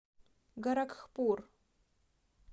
горакхпур